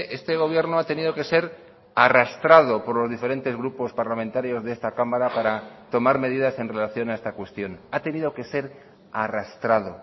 este gobierno ha tenido que ser arrastrado por los diferentes grupos parlamentarios de esta cámara para tomar medidas en relación a esta cuestión ha tenido que ser arrastrado